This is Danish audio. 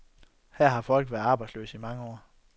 Her har folk været arbejdsløse i mange år.